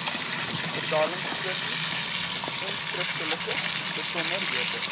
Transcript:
betaalstrokie enskriftelike besonderhede